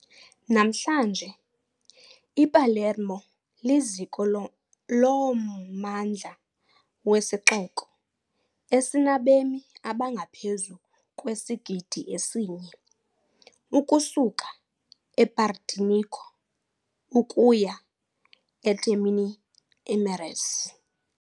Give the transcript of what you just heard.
Namhlanje iPalermo liziko lommandla wesixoko esinabemi abangaphezu kwesigidi esinye, ukusuka ePartinico ukuya eTermini Imerese .